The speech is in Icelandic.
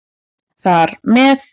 Þar með